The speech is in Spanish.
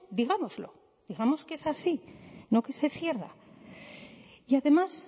digámoslo digamos que es así no que se cierra y además